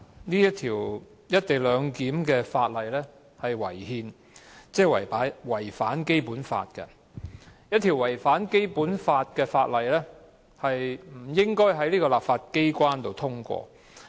第一，《廣深港高鐵條例草案》違憲，即違反《基本法》。一項違反《基本法》的《條例草案》不應在立法機關通過。